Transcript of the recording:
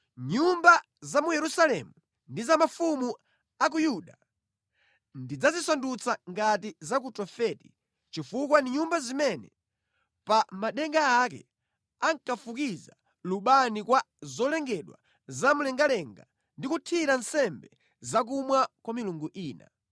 Nyumba za mu Yerusalemu ndi za mafumu a ku Yuda ndidzazisandutsa ngati za ku Tofeti chifukwa ndi nyumba zimene pa madenga ake ankafukiza lubani kwa zolengedwa zamlengalenga ndi kuthira nsembe zachakumwa kwa milungu ina.’ ”